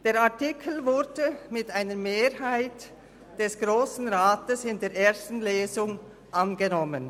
Der Artikel wurde mit einer Mehrheit des Grossen Rats in der ersten Lesung angenommen.